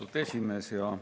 Austatud esimees!